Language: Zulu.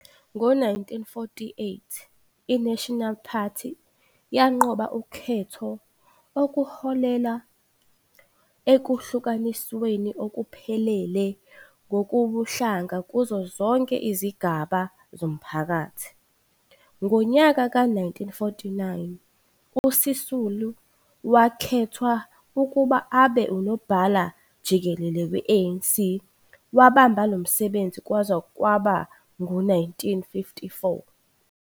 Ngo-1948 i-Nasional Party yanqoba ukhetho okuholela ekuhlukanisweni okuphelele ngokobuhlanga kuzo zonke izigaba zomphakathi. Ngonyaka ka-1949 uSisulu wakhethwa ukuba abe unobhala-jikelele we-ANC wabamba lomsebenzi kwaze kwaba ngu-1954.